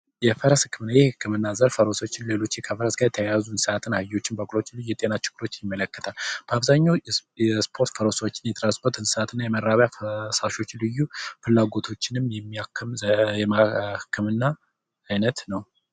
የፈረስ ህክምና የህክምና ዘርፍ የእንስሳት ጋር የተያያዙ አህዮችን በቅሎ ፈረሶችን ይመለከታል በአብዛኛው ይህ የእንስሳትን የመራቢያ አካላት እና ፍላጎቶችን የሚያክም የህክምና ዘርፍ ነው።